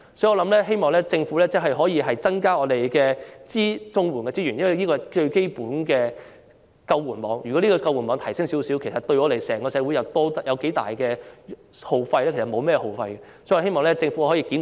因此，我希望政府可以增加綜援的資源，因為這是最基本的救援網，而提升這個救援網對整個社會不會有很大的耗費，所以我希望政府可以檢討政策，改善綜援金額。